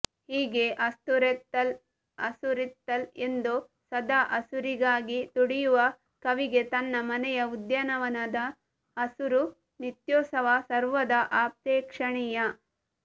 ಹೀಗೆ ಹಸುರೆತ್ತಲ್ ಹಸುರಿತ್ತಲ್ ಎಂದು ಸದಾ ಹಸುರಿಗಾಗಿ ತುಡಿಯುವ ಕವಿಗೆ ತನ್ನ ಮನೆಯ ಉದ್ಯಾನವನದ ಹಸುರು ನಿತ್ಯೋತ್ಸವ ಸರ್ವದಾ ಅಪೇಕ್ಷಣೀಯ